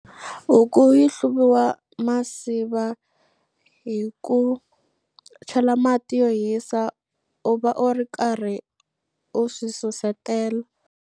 Huku yi hluviwa masiva hi ku chela mati yo hisa u va u ri karhi u swi susetela.